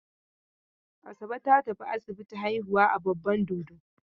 Asabe ta tafi asibiti haihuwa a Babban Dodo.